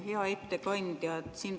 Hea ettekandja!